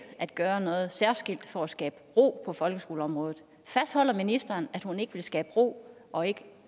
at gøre noget særskilt for at skabe ro på folkeskoleområdet fastholder ministeren at hun ikke vil skabe ro og ikke